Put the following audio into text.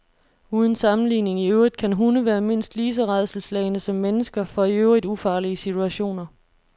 Uden sammenligning i øvrigt kan hunde være mindst lige så rædselsslagne som mennesker for i øvrigt ufarlige situationer.